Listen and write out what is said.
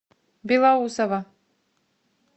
белоусово